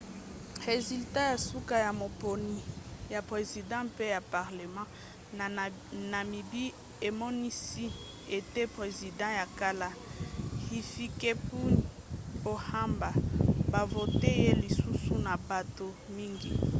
resulats ya suka ya maponi ya president pe ya parlema na namibie emonisi ete president ya kala hifikepunye pohamba bavote ye lisusu na bato mingi